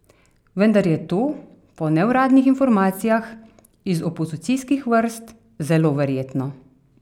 Vendar je to, po neuradnih informacijah iz opozicijskih vrst, zelo verjetno.